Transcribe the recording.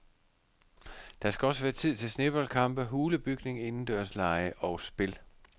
Der skal også være tid til sneboldkampe, hulebygning, indendørslege og spil.